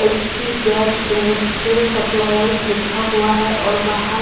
HP gas industrial suppliers लिखा हुआ हैं और बाहर--